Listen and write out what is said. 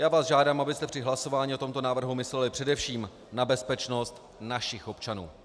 Já vás žádám, abyste při hlasování o tomto návrhu mysleli především na bezpečnost našich občanů.